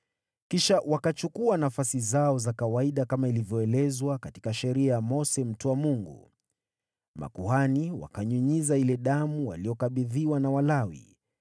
Kisha wakachukua nafasi zao za kawaida kama ilivyoelezwa katika Sheria ya Mose mtu wa Mungu. Makuhani wakanyunyiza ile damu waliyokabidhiwa na Walawi.